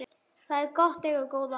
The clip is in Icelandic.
Það er gott að eiga góða að